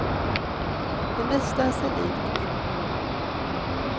Det mesta är sig likt från då.